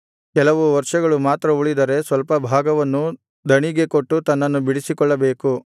ಕೆಲವು ವರ್ಷಗಳು ಮಾತ್ರ ಉಳಿದರೆ ಸ್ವಲ್ಪಭಾಗವನ್ನೂ ದಣಿಗೆ ಕೊಟ್ಟು ತನ್ನನ್ನು ಬಿಡಿಸಿಕೊಳ್ಳಬೇಕು